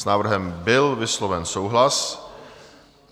S návrhem byl vysloven souhlas.